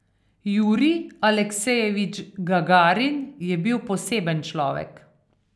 Jurij Aleksejevič Gagarin je bil poseben človek.